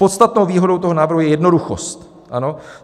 Podstatnou výhodou toho návrhu je jednoduchost.